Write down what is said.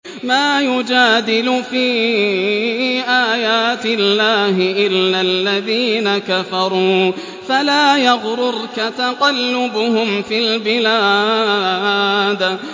مَا يُجَادِلُ فِي آيَاتِ اللَّهِ إِلَّا الَّذِينَ كَفَرُوا فَلَا يَغْرُرْكَ تَقَلُّبُهُمْ فِي الْبِلَادِ